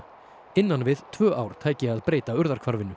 innan við tvö ár tæki að breyta